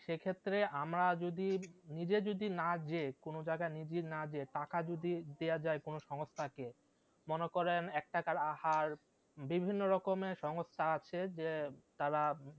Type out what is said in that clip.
সেক্ষেত্রে আমরা যদি নিজে যদি না যেয়ে কোনো জায়গায় নিজে যদি না যেয়ে টাকা যদি দেওয়া যায় কোনো সংস্থাকে মনে করেন এক টাকার আহার, বিভিন্ন রকমের সংস্থা আছে যে তারা